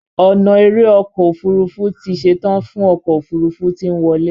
ona èrè ọkọ òfurufú tí ṣetan fún ọkọ òfurufú tí nwọle.